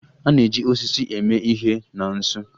A na-eji osisi eme ihe na nsu.